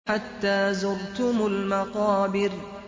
حَتَّىٰ زُرْتُمُ الْمَقَابِرَ